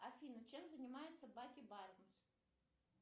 афина чем занимается баки барнс